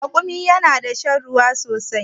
Rakumi yana da shan ruwa sosai